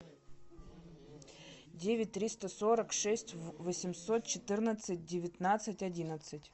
девять триста сорок шесть восемьсот четырнадцать девятнадцать одиннадцать